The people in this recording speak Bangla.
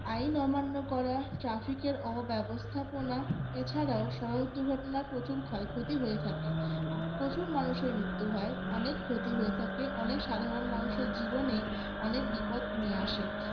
আইন অমান্য করা traffic এর অব্যবস্থাপনা এছাড়াও সড়ক দুর্ঘটনার প্রচুর ক্ষয়ক্ষতি হয়ে থাকে প্রচুর মানুষের মৃত্যু হয় অনেক ক্ষতি হয়ে থাকে অনেক সাধারন মানুষের জীবনে অনেক বিপদ নিয়ে আসে